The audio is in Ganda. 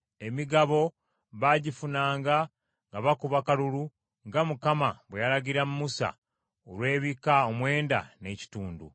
Emigabo baagifunanga nga bakuba kalulu nga Mukama bwe yalagira Musa olw’ebika omwenda n’ekitundu,